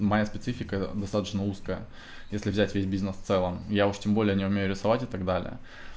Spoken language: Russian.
моя специфика достаточно узкая если взять весь бизнес в целом я уж тем более не умею рисовать и так далее